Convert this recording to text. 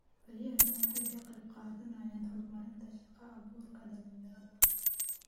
Beerahani waxa ay ka qayb qaadanayaan horumarinta shaqo abuurka dhalinyarada.